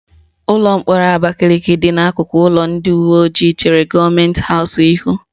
Ụlọ mkpọrọ Abakaliki dị n'akụkụ ụlọ ndị uweojii chere gọọmenti haụs ihu